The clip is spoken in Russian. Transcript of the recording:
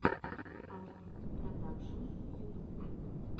албит продакшн ютуб